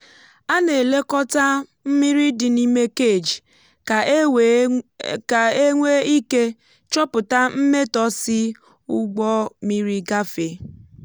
a na-elekọta mmiri dị n'ime cage ka e nwee ike chọpụta mmetọ si ụgbọ mmiri gafee.